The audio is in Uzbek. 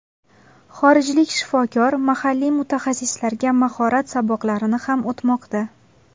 Xorijlik shifokor mahalliy mutaxassislarga mahorat saboqlarini ham o‘tmoqda.